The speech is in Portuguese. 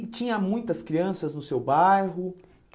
E tinha muitas crianças no seu bairro?